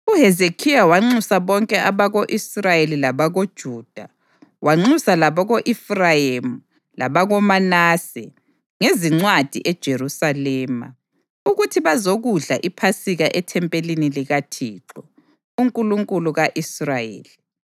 UHezekhiya wanxusa bonke abako-Israyeli labakoJuda, wanxusa labako-Efrayimi labakoManase ngezincwadi eJerusalema, ukuthi bazokudla iPhasika ethempelini likaThixo, uNkulunkulu ka-Israyeli.